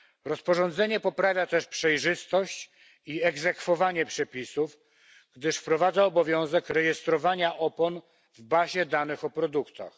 Rozporządzenie poprawia też przejrzystość i egzekwowanie przepisów, gdyż wprowadza obowiązek rejestrowania opon w bazie danych o produktach.